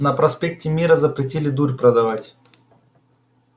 на проспекте мира запретили дурь продавать